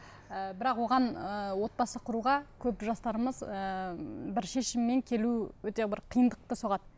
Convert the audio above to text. ы бірақ оған ыыы отбасы құруға көп жастарымыз ыыы бір шешіммен келу өте бір қиындықты соғады